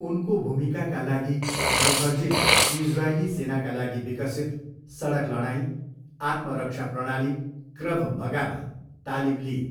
उनको भूमिकाका लागि, मुखर्जीले इजरायली सेनाका लागि विकसित सडक लडाइँ, आत्मरक्षा प्रणाली क्रभ मगामा तालिम लिइन्।